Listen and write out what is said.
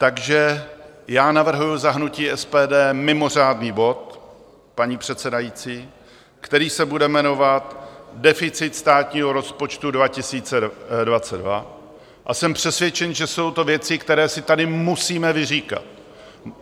Takže já navrhuji za hnutí SPD mimořádný bod, paní předsedající, který se bude jmenovat Deficit státního rozpočtu 2022, a jsem přesvědčen, že jsou to věci, které si tady musíme vyříkat.